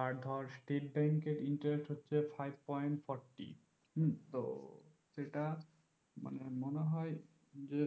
আর ধর state bank এর interest হচ্ছে five point forty হম তো সেটা মানে মনে হয় যে